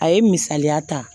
A ye misaliya ta